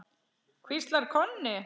hvíslar Konni.